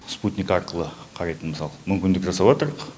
спутник арқылы қарайтын мысалы мүмкіндік жасаватырық